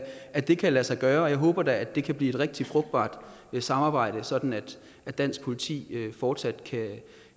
at det kan lade sig gøre og jeg håber da at det kan blive et rigtig frugtbart samarbejde sådan at dansk politi fortsat